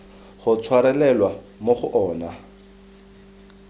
go tshwarelelwa mo go ona